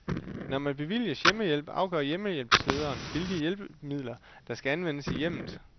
Når man bevilges hjemmehjælp afgør hjemmehjælpslederen, hvilke hjælpemidler, der skal anvendes i hjemmet.